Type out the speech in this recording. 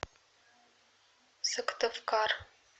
сыктывкар